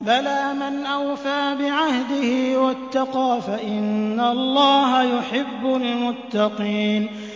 بَلَىٰ مَنْ أَوْفَىٰ بِعَهْدِهِ وَاتَّقَىٰ فَإِنَّ اللَّهَ يُحِبُّ الْمُتَّقِينَ